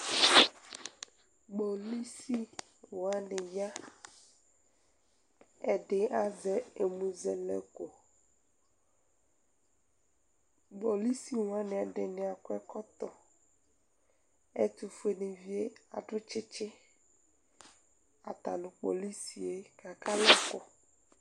Kpolusi wani ya Ɛdi azɛ ɛmʋzɛlɛko Kpolusi wani ɛdini akɔ ɛkɔtɔ Ɛtʋfue ni vie adʋ tsitsi Ata nʋ kpolusi e kaka alɛ ɛkʋ